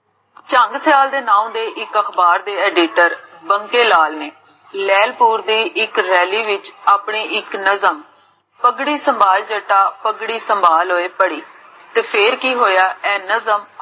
ਚੰਗ ਸਿਆਲ ਦੇ ਨੋਂ ਦੇ ਇਕ ਅਖਬਾਰ ਦੇ editor ਬੰਗੇ ਲਾਲ ਨੇ ਲੇਹ੍ਲਪੁਰ ਦੀ ਇਕ ਰੈਲੀ ਵਿਚ ਆਪਣੀ ਇਕ ਨਜ਼ਰ ਪਗੜੀ ਸੰਬਲ ਜੱਟਾ ਪਗੜੀ ਸੰਬਾਲ ਓਏ ਪੜੀ, ਤੇ ਫੇਰ ਕੀ ਹੋਇਆ,